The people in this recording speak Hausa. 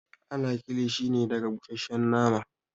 Ana kilishi ne daga busasshen nama